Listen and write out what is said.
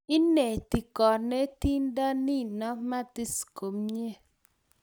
ineti konetinte nino matis komie